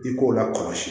I k'o lakɔlɔsi